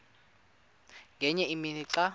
ngenye imini xa